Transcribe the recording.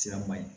Sira man ɲi